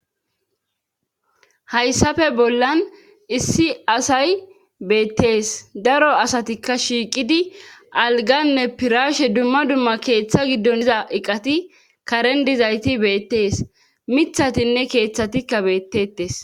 Hayssafe bollan issi asay beettees daro asatikka shiiqidi alganne piraashe dumma dumma keeththa giddon iza eqati karen dizayti beettees mithatinne keeththatikka beettettes